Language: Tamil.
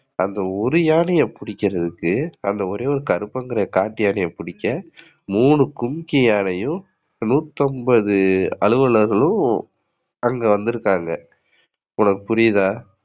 அந்த ஒரு யானைய பிடிக்கிறதுக்கு அந்த ஒரே ஒரு கருப்பன் காட்டு யானைய பிடிக்க மூணு கும்கி யானையும், நூத்தி அம்பது அலுவலகர்களும் அங்க வந்துருக்காங்க உனக்கு புரியுதா?